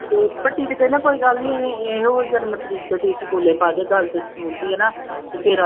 ਤੇ ਭੱਟੀ ਤੇ ਕਹਿੰਦਾ ਕੋਈ ਗੱਲ ਨੀ ਇਹ ਇਹੋ ਜਨਮ ਤਰੀਕ ਤੇ ਤੁਸੀਂ ਸਕੂਲੇ ਪਾ ਦਿਓ ਹਨਾ ਤੇ ਫਿਰ